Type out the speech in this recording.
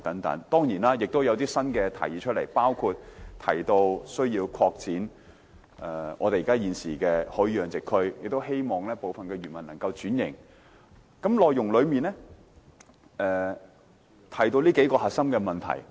當然，今次也提出了一些新政策，包括擴展現有的魚類養殖區，亦鼓勵部分漁民轉型，施政報告內容提到的就是這幾個核心問題。